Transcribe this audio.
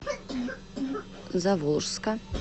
заволжска